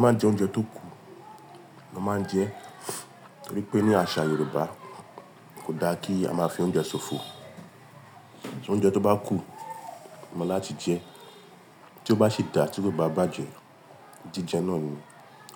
Má jẹ oúnjẹ tó kù mo ma n je torí pé ní àṣà Yorùbá kò da kí a máa fi oúnjẹ ṣòfò. Ṣé oúnjẹ tó bá kù, mo láti jẹ tí ó bá sì dá tí kò bá bàjẹ́ jíjẹ náà ni.